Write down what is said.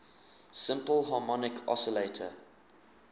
simple harmonic oscillator